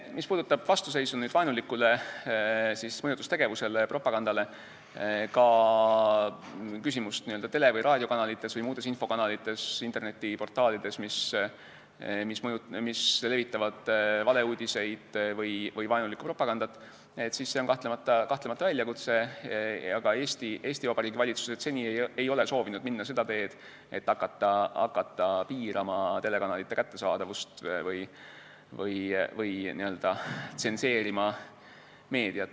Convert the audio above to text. Mis puudutab vastuseisu vaenulikule mõjutustegevusele, propagandale, ka küsimust tele- või raadiokanalitest või muudest infokanalitest, internetiportaalidest, mis levitavad valeuudiseid või vaenulikku propagandat, siis see on kahtlemata väljakutse, aga Eesti Vabariigi valitsused ei ole seni soovinud minna seda teed, et hakata piirama telekanalite kättesaadavust või hakata meediat n-ö tsenseerima.